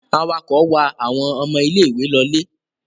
Awakọ̀ wa àwọn ọmọ ilé-ìwé lọlé?